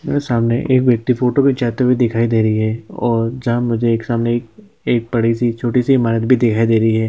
मेरे सामने एक व्यक्ति फोटो खिंचाते हुए दिखाई दे रही है और जहाँ मुझे एक सामने एक एक बड़ी- सी छोटी- सी ईमारत भी दिखाई दे रही हैं ।